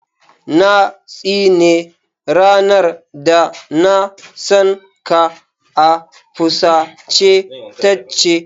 Na tsine ranar da na san ka, a fusace ta ce.